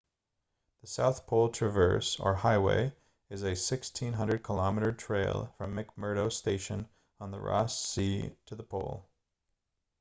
the south pole traverse or highway is a 1600 km trail from mcmurdo station on the ross sea to the pole